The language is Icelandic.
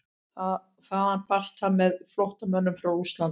Þaðan barst það með flóttamönnum frá Rússlandi.